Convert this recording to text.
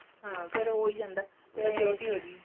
ਹਾਂ ਫ਼ੇਰ ਹੋ ਹੀ ਜਾਂਦਾ majority ਹੋਗੀ